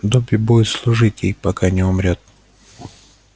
добби будет служить ей пока не умрёт